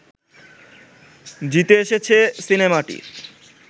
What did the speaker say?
জিতে এসেছে সিনেমাটি